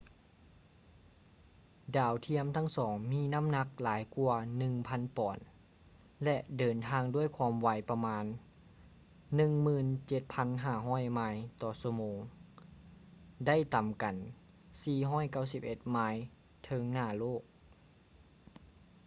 ດາວທຽມທັງສອງມີນໍ້າໜັກຫຼາຍກວ່າ 1,000 ປອນ ແລະ ເດີນທາງດ້ວຍຄວາມໄວປະມານ 17,500 ໄມລ໌ ຕໍ່ຊົ່ວໂມງ ໄດ້ຕໍາກັນ 491 ໄມລ໌ເທິງໜ້າໂລກ